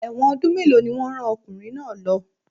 Ẹ̀wọ̀n ọdún mélòó ni wọ́n rán ọkùnrin náà lo?